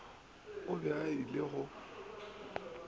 o be a ile go